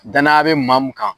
Danaya be maa mun kan.